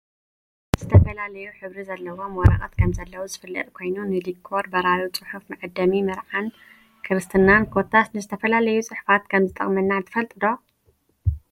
ዝተፈላለዩ ሕብሪ ዘለዎም ወረቀት ከምዘለው ዝፍለጥ ኮይኑ ንዲኮር፣ በራሪ ፅሑፍ፣ መዓደሚ መርዓን ክርስትናን ኮታስ ንዝተፈላለዩ ፅሑፋት ከም ዝጠቅመና ትፈልጡ ዶ ?